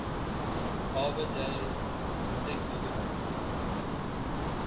arbor day sikmogil